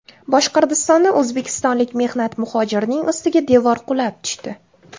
Boshqirdistonda o‘zbekistonlik mehnat muhojirining ustiga devor qulab tushdi.